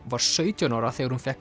var sautján ára þegar hún fékk